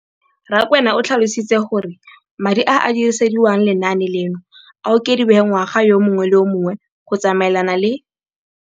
Rakwena o tlhalositse gore madi a a dirisediwang lenaane leno a okediwa ngwaga yo mongwe le yo mongwe go tsamaelana le